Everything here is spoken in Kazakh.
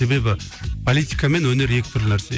себебі политика мен өнер екі түрлі нәрсе